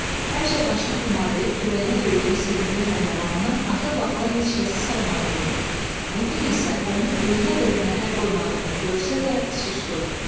Həmişə başını tumarlayıb kürəyinə döydüyü sevimli pəhləvanının axır vaxtlar heç kəsi saymadığını, bu gün isə onun özünə belə məhəl qoymadığını görsə də susdu.